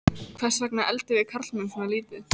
Hvers vegna eldum við karlmenn svona lítið?